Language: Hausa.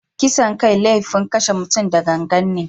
Kisan kai laifin kashe mutum da gangan ne.